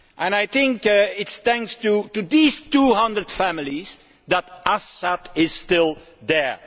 It is thanks to these 200 families that Assad is still there.